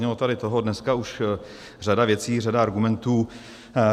Zaznělo tady toho dneska už řada věcí, řada argumentů.